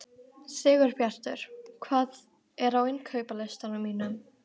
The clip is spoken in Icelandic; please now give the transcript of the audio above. Sigurbjartur, hvað er á innkaupalistanum mínum?